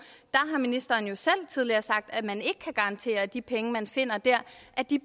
har ministeren jo selv tidligere sagt at man ikke kan garantere at de penge man finder dér